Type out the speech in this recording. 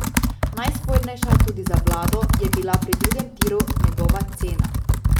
Najspornejša, tudi za vlado, je bila pri drugem tiru njegova cena.